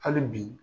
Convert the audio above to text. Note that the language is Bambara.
Hali bi